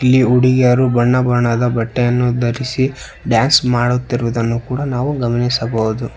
ಇಲ್ಲಿ ಹುಡುಗಿಯರು ಬಣ್ಣ ಬಣ್ಣದ ಬಟ್ಟೆಯನ್ನು ಧರಿಸಿ ಡ್ಯಾನ್ಸ್ ಮಾಡುತ್ತಿರುವುದನ್ನು ಕೂಡ ನಾವು ಗಮನಿಸಬವುದು.